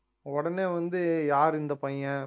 உடனே வந்து யாரு இந்தப் பையன்